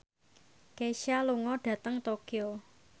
Kesha lunga dhateng Tokyo